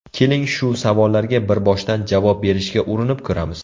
Keling shu savollarga bir boshdan javob berishga urinib ko‘ramiz.